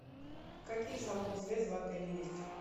какие салоны связи в отеле есть